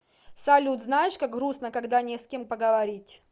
салют знаешь как грустно когда не с кем поговорить